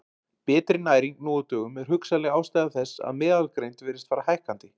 Betri næring nú á dögum er hugsanleg ástæða þess að meðalgreind virðist fara hækkandi.